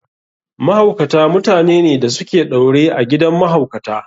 Mahaukata mutanene da su ke ɗaure a gidan mahaukata.